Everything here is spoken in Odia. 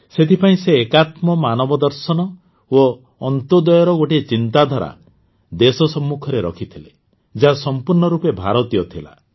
ସେଥିପାଇଁ ସେ ଏକାତ୍ମ ମାନବଦର୍ଶନ ଓ ଅନ୍ତ୍ୟୋଦୟର ଗୋଟିଏ ଚିନ୍ତାଧାରା ଦେଶ ସମ୍ମୁଖରେ ରଖିଥିଲେ ଯାହା ସମ୍ପୂର୍ଣ୍ଣ ରୂପେ ଭାରତୀୟ ଥିଲା